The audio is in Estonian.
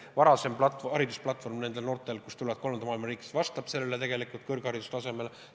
Samuti on oluline kolmandatest riikidest pärit noorte haridustase, kas see vastab kõrghariduse saamiseks vajalikule tasemele.